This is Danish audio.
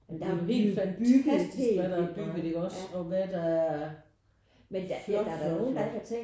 Det er jo helt fantastisk hvad der er bygget der også og hvad der er flot flot flot